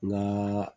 N ka